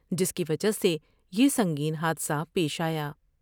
جس کی وجہ سے سنگین حادثہ پیش آیا ۔